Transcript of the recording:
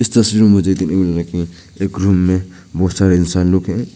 तस्वीर मे मुझे देखने को मिल रहा है कि एक रूम मे बहोत सारे इंसान लोग हैं।